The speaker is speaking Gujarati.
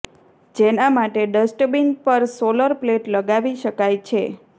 જેના માટે ડસ્ટબિન પર સોલર પ્લેટ લગાવી શકાય છે